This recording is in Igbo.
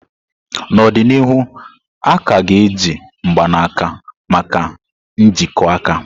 N'ọdịnihu, a ka ga-eji mgbanaka maka njikọ aka.